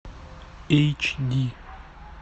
эйч ди